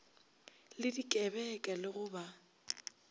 le dikebeka le go ba